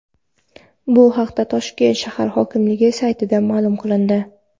Bu haqda Toshkent shahar hokimligi saytida ma’lum qilindi .